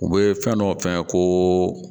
U bɛ fɛn dɔ f'a ye ko